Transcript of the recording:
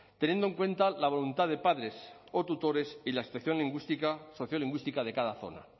teniendo en cuenta la voluntad de padres o tutores y la lingüística sociolingüística de cada zona